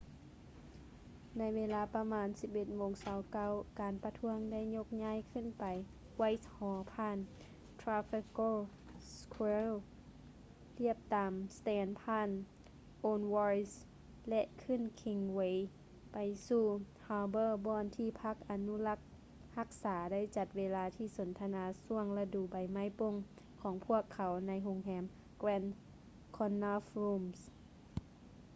ໃນເວລາປະມານ 11:29 ການປະທ້ວງໄດ້ຍົກຍ້າຍຂຶ້ນໄປ whitehall ຜ່ານ trafalgar square ລຽບຕາມ strand ຜ່ານ aldwych ແລະ ຂຶ້ນ kingsway ໄປສູ່ holbor ບ່ອນທີ່ພັກອະນຸລັກຮັກສາໄດ້ຈັດເວທີສົນທະນາຊ່ວງລະດູໃບໄມ້ປົ່ງຂອງພວກເຂົາໃນໂຮງແຮມ grand connaught rooms